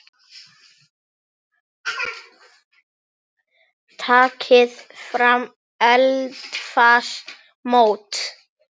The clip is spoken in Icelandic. Takið fram eldfast mót.